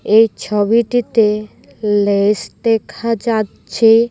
এই ছবিটিতে লেস দেখা যাচ্ছে।